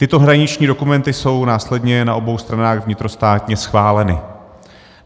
Tyto hraniční dokumenty jsou následně na obou stranách vnitrostátně schváleny.